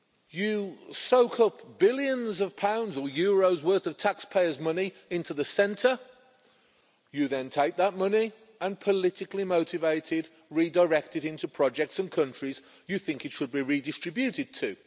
You soak up billions of pounds— or euros-worth of taxpayers' money into the centre, you then take that money and, politically motivated, redirect it into projects in countries you think it should be redistributed to.